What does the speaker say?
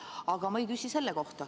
Aga ma ei küsi selle kohta.